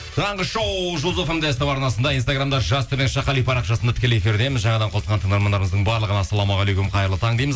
таңғы шоу жұлдыз фм де ств арнасында инстаграмда жас қали парақшасында тікелей эфирдеміз жаңадан қосылған тыңдармандарымыздың барлығына ассалаумағалейкум қайырлы таң дейміз